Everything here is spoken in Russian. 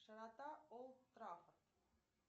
широта олд траффорд